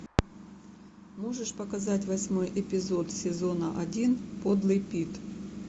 можешь показать восьмой эпизод сезона один подлый пит